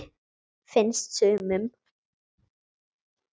Finnst sumum.